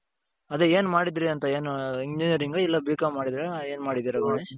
ಅದೇ ಏನು ಮಾಡುದ್ರಿ ಅಂತ ಏನು Engineering ಇಲ್ಲ B.Com ಮಾಡಿದ್ದೀರ ಇಲ್ಲ ಎನ್ ಮಾಡಿದ್ದೀರಾ?